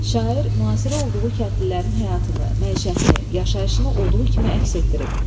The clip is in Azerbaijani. Şair müasir olduğu kəndlilərin həyatını, məişətini, yaşayışını olduğu kimi əks etdirib.